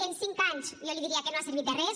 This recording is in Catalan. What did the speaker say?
en cinc anys jo li diria que no ha servit de res